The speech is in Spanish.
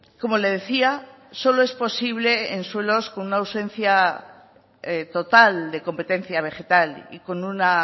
como le decía solo es posible en suelos con una ausencia total de competencia vegetal y con una